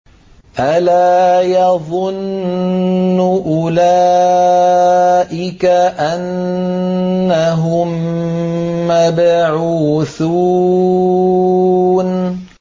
أَلَا يَظُنُّ أُولَٰئِكَ أَنَّهُم مَّبْعُوثُونَ